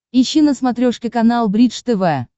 ищи на смотрешке канал бридж тв